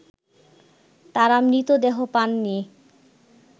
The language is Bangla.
তারা মৃতদেহ পাননি